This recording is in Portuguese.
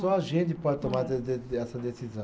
Só a gente pode tomar de de de de, essa decisão.